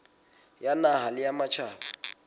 ya naha le ya matjhaba